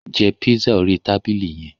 Jẹ pizza orí tabili yẹn!